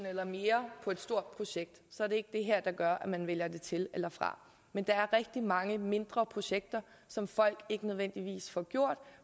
eller mere på et stort projekt er det ikke det her der gør man vælger det til eller fra men der er rigtig mange mindre projekter som folk ikke nødvendigvis får gjort